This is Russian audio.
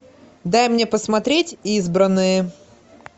дай мне посмотреть избранные